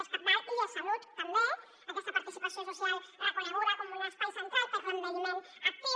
és cabdal i és salut també aquesta participació social reconeguda com un espai central per a l’envelliment actiu